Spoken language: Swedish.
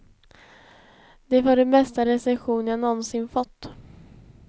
Det var den bästa recension jag nånsin fått.